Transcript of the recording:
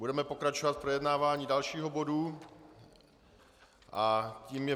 Budeme pokračovat v projednávání dalšího bodu a tím je